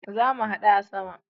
Zamu hadu a sama